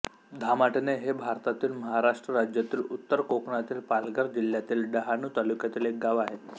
धामाटणे हे भारतातील महाराष्ट्र राज्यातील उत्तर कोकणातील पालघर जिल्ह्यातील डहाणू तालुक्यातील एक गाव आहे